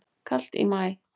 Kalt í maí